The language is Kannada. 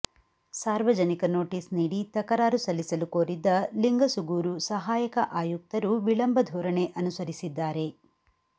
ಸಾರ್ವಜನಿಕ ನೋಟಿಸ್ ನೀಡಿ ತಕರಾರು ಸಲ್ಲಿಸಲು ಕೋರಿದ್ದ ಲಿಂಗಸುಗೂರು ಸಹಾಯಕ ಆಯುಕ್ತರು ವಿಳಂಬ ಧೋರಣೆ ಅನುಸರಿಸಿದ್ದಾರೆ